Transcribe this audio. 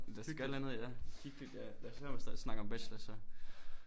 Lad so gøre et eller andet ja hyggeligt ja lad os lade være med at snakke om bachelor så